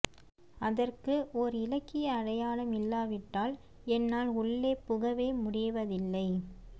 அதற்கு ஓர் இலக்கிய அடையாளம் இல்லாவிட்டால் என்னால் உள்ளே புகவே முடிவதில்லை